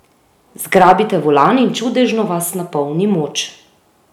Zgrabite volan in čudežno vas napolni moč!